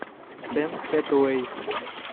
с энн хэтуэй